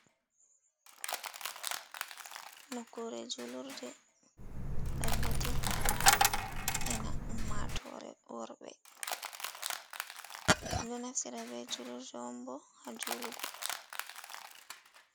Nokure julurde dagoti ena ummatore worbe, do naftira be julurde ombo ha julugo.